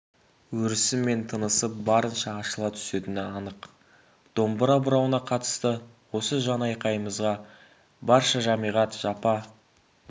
өрісі мен тынысы барынша ашыла түсетіні анық домбыра бұрауына қатысты осы жанайқайымызға барша жәмиғат жапа